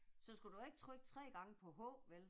Så skulle du da ikke trykke 3 gange på h vel?